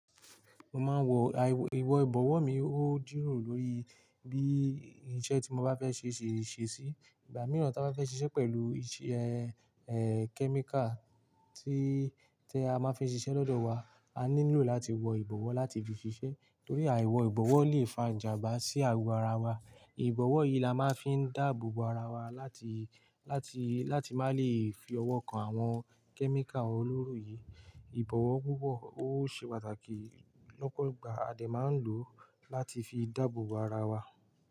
Mo máa ń wọ, a- ìwọ̀ ìbọ̀wọ́ mi, óò dúró lórí bí iṣẹ́ tí mo bá fẹ́ ṣe ṣe ṣesí. Ìgbà mìíràn tí a bá fẹ́ ṣiṣẹ́ pẹ̀lú ìṣe, e, kẹ́míkà tí, tí a máa fi ń ṣiṣẹ́ lọ́dọ̀ wa, a ní lò láti wọ ìbọ̀wọ́ láti fi ṣiṣẹ́. Torí àìwọ ìbọ̀wọ̀ lè fa ìjàmbá sí ago ara wa. Ìbọ̀wọ̀ yìí la máa ń fi dáàbò bo ara wa láti, láti, láti má lè fi ọwọ́ kan àwọn kẹ́míkà olóró yìí. Ìbọ̀wọ̀ púpọ̀ ó ṣe pàtàkì lọ́pọ̀ ìgbà, a dẹ̀ máa ń lò ó láti fi dáàbò bo ara wa.